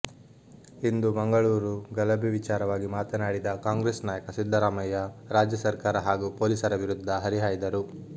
ಇಂದು ಮಂಗಳೂರು ಗಲಭೆ ವಿಚಾರವಾಗಿ ಮಾತನಾಡಿದ ಕಾಂಗ್ರೆಸ್ ನಾಯಕ ಸಿದ್ದರಾಮಯ್ಯ ರಾಜ್ಯ ಸರ್ಕಾರ ಹಾಗೂ ಪೊಲೀಸರ ವಿರುದ್ಧ ಹರಿಹಾಯ್ದರು